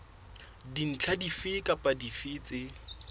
dintlha dife kapa dife tse